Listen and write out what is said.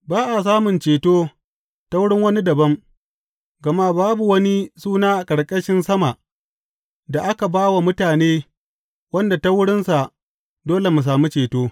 Ba a samun ceto ta wurin wani dabam, gama babu wani suna a ƙarƙashin sama da aka ba wa mutane wanda ta wurinsa dole mu sami ceto.